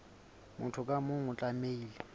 motho ka mong o tlamehile